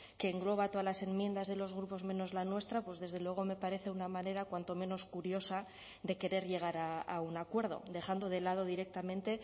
que engloba todas las enmiendas de los grupos menos la nuestra pues desde luego me parece una manera cuanto menos curiosa de querer llegar a un acuerdo dejando de lado directamente